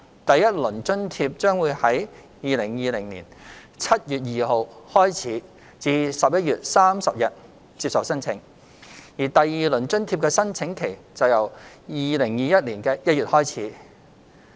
第一輪津貼將於2020年7月2日開始至11月30日接受申請；而第二輪津貼的申請期則由2021年1月開始。